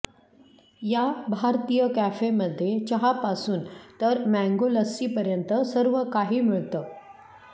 या भारतीय कॅफेमध्ये चहा पासून तर मँगो लस्सी पर्यंत सर्वकाही मिळत